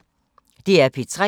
DR P3